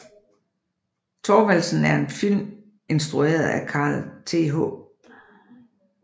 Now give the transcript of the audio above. Thorvaldsen er en film instrueret af Carl Th